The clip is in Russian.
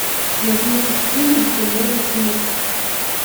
набери фильм туннели смерти